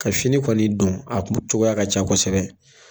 Ka fini kɔni don a kun cogoya ka ca kosɛbɛ